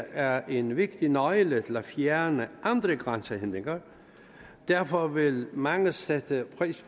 er en vigtig nøgle til at fjerne andre grænsehindringer derfor vil mange sætte pris